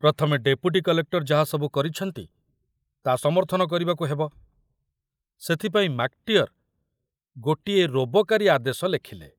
ପ୍ରଥମେ deputy collector ଯାହା ସବୁ କରିଛନ୍ତି, ତା ସମର୍ଥନ କରିବାକୁ ସେଥିପାଇଁ ମାକଟିଅର ଗୋଟିଏ ରୋବକାରୀ ଆଦେଶ ଲେଖିଲେ।